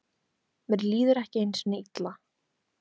Mér líður ekki einu sinni illa.